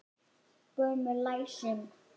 Gömul læsing.